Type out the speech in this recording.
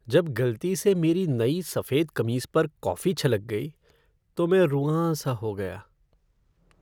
जब गलती से मेरी नई सफेद कमीज पर कॉफ़ी छलक गई, तो मैं रुआँसा हो गया।